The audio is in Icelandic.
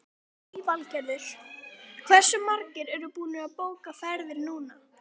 Lillý Valgerður: Hversu margir eru búnir að bóka ferðir núna?